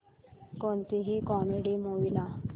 कोणतीही comedy movie लाव